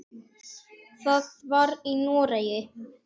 Það var í Noregi.